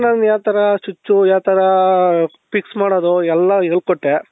ನಾನು ಯಾವ ತರ switch ಯಾವ ತರಾ. fix ಮಾಡೋದು ಎಲ್ಲಾ ಹೇಳ್ಕೊಟ್ಟೆ.